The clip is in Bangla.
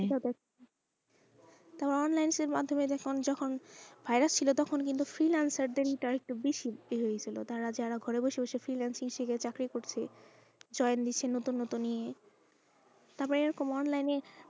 তারপর online এর মাধ্যমে যখন ফেলা ছিল তখন free lines এর ইটা একটু বেশি ছিল যারা ঘরে বসে বসে free lines এর চাকরি করছে join দিচ্ছে নতুন নতুন নিয়ে তারপর এরকম online এ,